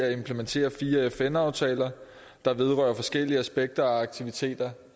at implementere fire fn aftaler der vedrører forskellige aspekter og aktiviteter